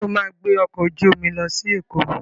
Sọ ma gbé ọkọ̀ ojú omi lọ sí Èkó?